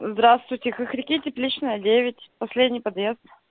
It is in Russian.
здравствуйте хохряки тепличная девять последний подъезд